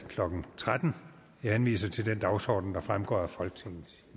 klokken tretten jeg henviser til den dagsorden der fremgår af folketingets